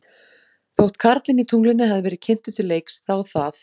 Þótt karlinn í tunglinu hefði verið kynntur til leiks, þá það.